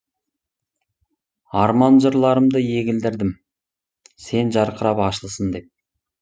арман жырларымды егілдірдім сен жарқырап ашылсын деп